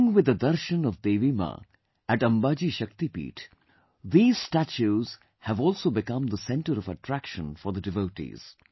Along with the darshan of Mother Goddess at Amba Ji Shakti Peeth, these statues have also become the center of attraction for the devotees